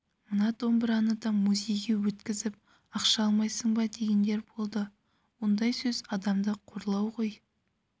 мына домбыраны да музейге өткізіп ақша алмайсың ба дегендер болды ондай сөз адамды қорлау ғой